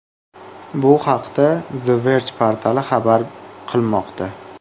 Bu haqda The Verge portali xabar qilmoqda .